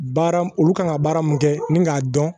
Baara mun olu kan ka baara mun kɛ ni k'a dɔn